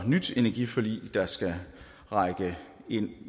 nyt energiforlig der skal række ind